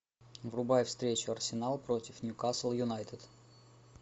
врубай встречу арсенал против ньюкасл юнайтед